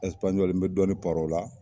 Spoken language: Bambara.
n bɛ dɔɔnin paron o la